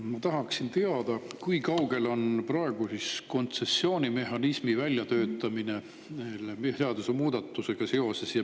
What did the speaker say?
Ma tahaksin teada, kui kaugel on praegu kontsessioonimehhanismi väljatöötamine seadusemuudatusega seoses.